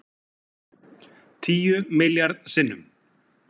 Tíu milljarð sinnum